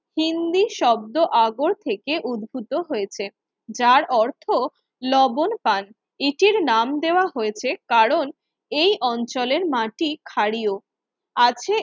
হিন্দি শব্দ আগর থেকে উদ্ভূত হয়েছে যার অর্থ লবণ পান, এটির নাম দেওয়া হয়েছে কারণ এই অঞ্চলের মাটি ক্ষারীয় আছে